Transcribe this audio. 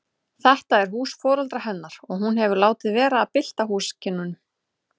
Þetta er hús foreldra hennar og hún hefur látið vera að bylta húsakynnum.